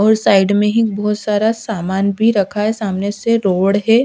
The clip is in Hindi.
और साइड में ही एक बहोत सारा सामान भी रखा है सामने से रोड है।